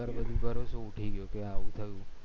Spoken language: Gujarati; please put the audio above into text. સરકાર પર ભી ભરોસો ઉઠી ગયો કે આવું થયું